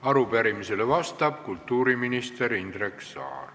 Arupärimisele vastab kultuuriminister Indrek Saar.